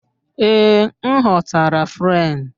Ee, m ghọtara Fren